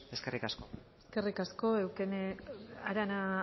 eskerrik asko eskerrik asko arana